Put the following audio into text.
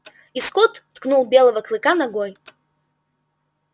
и скотт ткнул белого клыка ногой